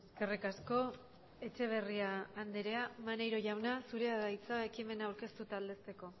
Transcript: eskerrik asko etxeberria andrea maneiro jauna zurea da hitza ekimena aurkeztu eta aldezteko